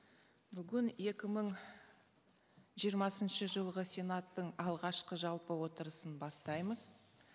бүгін екі мың жиырмасыншы жылғы сенаттың алғашқы жалпы отырысын бастаймыз